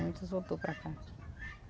Muitos voltou para cá.